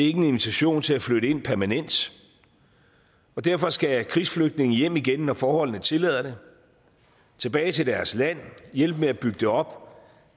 ikke en invitation til at flytte ind permanent og derfor skal krigsflygtninge hjem igen når forholdene tillader det tilbage til deres land hjælpe med at bygge det op